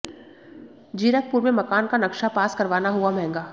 जीरकपुर में मकान का नक्शा पास करवाना हुआ महंगा